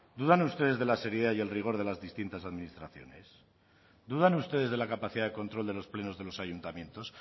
dudan ustedes de la seriedad y el rigor de las distintas administraciones dudan ustedes de la capacidad de control de los plenos de los ayuntamientos